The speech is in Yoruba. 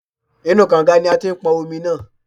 Inú u kọ̀ǹga ni a ti pọn omi náà.